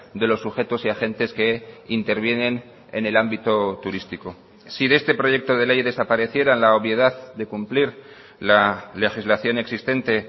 de los sujetos y agentes que intervienen en el ámbito turístico si de este proyecto de ley desaparecieran la obviedad de cumplir la legislación existente